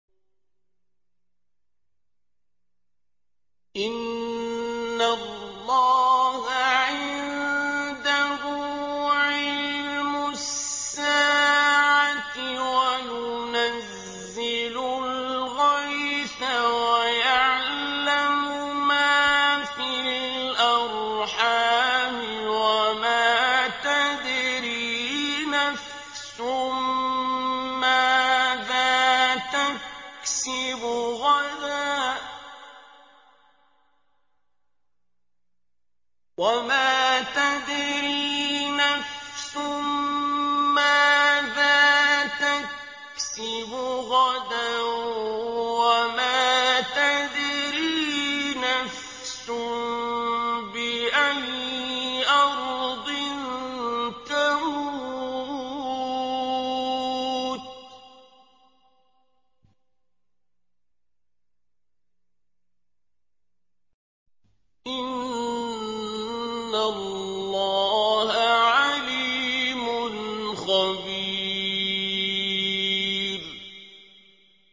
إِنَّ اللَّهَ عِندَهُ عِلْمُ السَّاعَةِ وَيُنَزِّلُ الْغَيْثَ وَيَعْلَمُ مَا فِي الْأَرْحَامِ ۖ وَمَا تَدْرِي نَفْسٌ مَّاذَا تَكْسِبُ غَدًا ۖ وَمَا تَدْرِي نَفْسٌ بِأَيِّ أَرْضٍ تَمُوتُ ۚ إِنَّ اللَّهَ عَلِيمٌ خَبِيرٌ